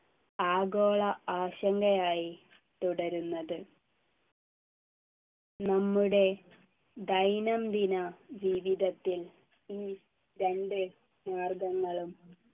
ആഗോള ആശങ്കയായി തുടരുന്നത് നമ്മുടെ ദൈനംദിന ജീവിതത്തിൽ ഈ രണ്ടു മാർഗങ്ങളും